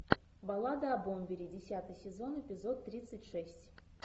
баллада о бомбере десятый сезон эпизод тридцать шесть